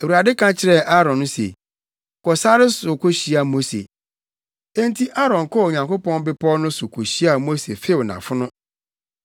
Awurade ka kyerɛɛ Aaron se, “Kɔ sare no so kohyia Mose.” Enti Aaron kɔɔ Onyankopɔn Bepɔw no so kohyiaa Mose few nʼafono.